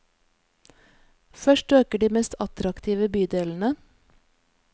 Først øker de mest attraktive bydelene.